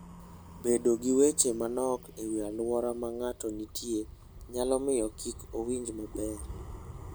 Bedo gi weche manok e wi alwora ma ng'ato nitie nyalo miyo kik owinj maber.